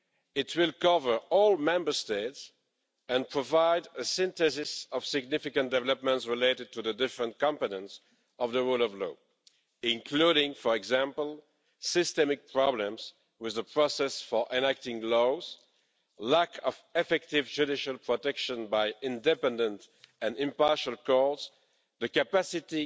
It will cover all Member States and provide a synthesis of significant developments related to the different competences of the rule of law, including, for example, systemic problems with the process for enacting laws, lack of effective judicial protection by independent and impartial courts, the capacity